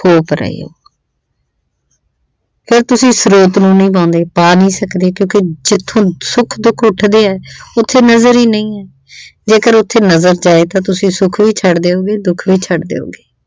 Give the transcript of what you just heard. ਥੋਪ ਰਹੇ ਓ ਫਿਰ ਤੁਸੀਂ ਸਰੂਪ ਨਹੀਂ ਨਿਭਾਉਂਦੇ, ਪਾ ਨਹੀਂ ਸਕਦੇ, ਕਿਉਂਕਿ ਜਿੱਥੋਂ ਸੁੱਖ ਦੁੱਖ ਉੱਠਦੇ ਆ ਉੱਥੇ ਨਜ਼ਰ ਹੀ ਨਹੀਂ ਆ ਜੇਕਰ ਉੱਥੇ ਨਜ਼ਰ ਜਾਏ ਤਾਂ ਤਸੀਂ ਸੁੱਖ ਵੀ ਛੱਡ ਦਿਉਂਗੇ ਤੇ ਦੁੱਖ ਵੀ ਛੱਡ ਦਿਉਂਗੇ ।